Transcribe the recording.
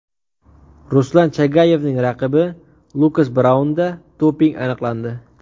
Ruslan Chagayevning raqibi Lukas Braunda doping aniqlandi .